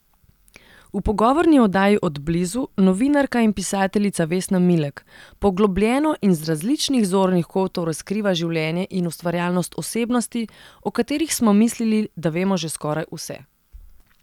V pogovorni oddaji Od blizu novinarka in pisateljica Vesna Milek poglobljeno in z različnih zornih kotov razkriva življenje in ustvarjalnost osebnosti, o katerih smo mislili, da vemo že skoraj vse.